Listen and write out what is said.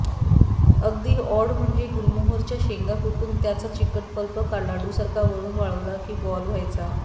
अगदी ऑड म्हणजे गुलमोहोराच्या शेंगा कुटून त्याचा चिकट पल्प लाडूसारखा वळून वाळवला की बॉल व्हायचा